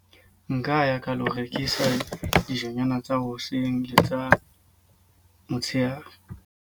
Nka ya ka lo rekisa dijonyana tsa hoseng le tsa motsheare.